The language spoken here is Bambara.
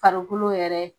Farikolo yɛrɛ